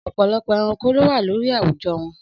Ọ̀pọ̀lọpọ̀ ẹranko ló wà lórí àwùjọ wọn.